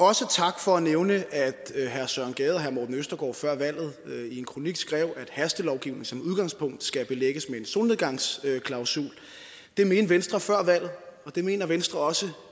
også tak for at nævne at herre søren gade og herre morten østergaard før valget i en kronik skrev at hastelovgivning som udgangspunkt skal belægges med en solnedgangsklausul det mente venstre før valget og det mener venstre også